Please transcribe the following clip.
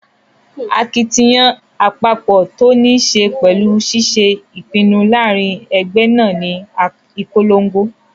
Akitiyan àpapọ̀ tó ní ṣe pẹ̀lú ṣiṣé ìpinnu láàrin ẹgbẹ́ náà ní ìponlogo